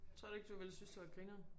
Tror du ikke du ville synes det var grineren